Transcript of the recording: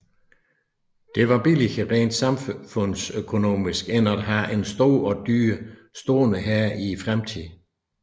Det var billigere rent samfundsøkonomisk end at have en stor og dyr stående hær i fredstid